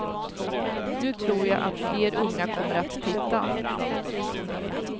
Nu tror jag att fler unga kommer att titta.